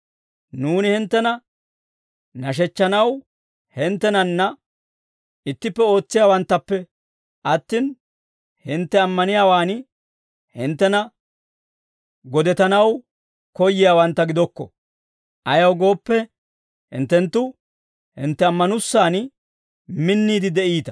Nuuni hinttena nashechchanaw hinttenanna ittippe ootsiyaawanttappe attin, hintte ammaniyaawaan hinttena godetanaw koyyiyaawantta gidokko; ayaw gooppe, hinttenttu hintte ammanussan minniide de'iita.